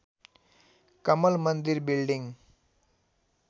Kamal Mandir building